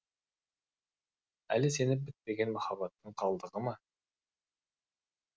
әлі сеніп бітпеген махаббаттың қалдығы ма